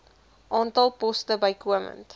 aantal poste bykomend